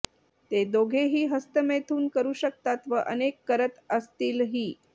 ते दोघेही हस्तमैथून करू शकतात व अनेक करत असतीलही